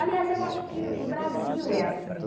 Aliás, eu acho que o Brasil é assim.